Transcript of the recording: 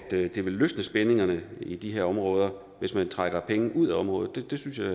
det vil løsne spændingerne i de her områder hvis man trækker penge ud af området det synes jeg